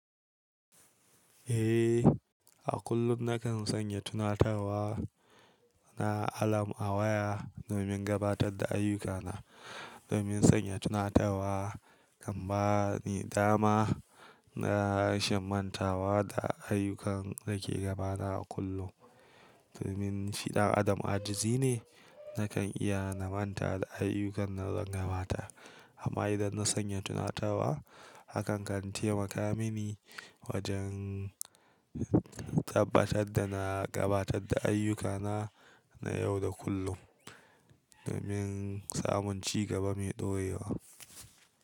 Eh, a kullum nakan sanya tunatarwa na alarm a waya domin gabatar da ayyukana. Domin sanya tunatarwa kan bani dama na rashimantawa da ayyukan da ke gabata a kullum. Domin shi ɗan adam ajizi ne, nakan iya na manta da ayyukan da zan gabatar. Amma idan na sanya tunatarwa, hakan kan taimaka mini wajen tabbatar da na gabatar da ayyukana na yau da kullum domin samun cigaba mai ɗoyewa.